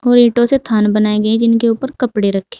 और ईंटों से थान बनाई गई है जिनके ऊपर कपड़े रखे--